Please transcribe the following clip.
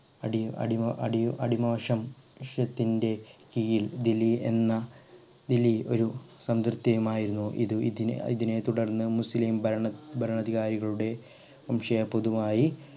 അടി അടിമ അടിമോ അടിമോക്ഷത്തിന്റെ കീഴിൽ ദില്ലി എന്ന ദില്ലി ഒരു ഇത് ഇതിനെ ഇതിനെത്തുടർന്ന് മുസ്ലിം ഭരണ ഭരണാധികാരികളുടെ